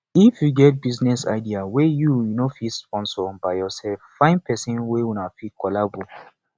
if you get business idea wey you no fit sponsor by yourself find person wey una fit collabo